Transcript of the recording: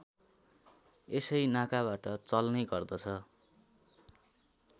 यसै नाकाबाट चल्ने गर्दछ